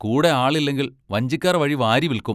കൂടെ ആളില്ലെങ്കിൽ വഞ്ചിക്കാർ വഴി വാരി വിൽക്കും.